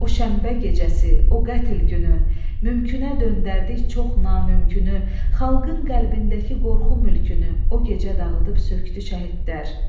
O şənbə gecəsi, o qətl günü, mümkünə döndərdik çox namümkünü, xalqın qəlbindəki qorxu mülkünü o gecə dağıdıb sökdü şəhidlər.